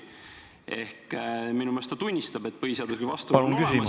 Ehk minu meelest ta tunnistab, et vastuolu põhiseadusega on olemas ...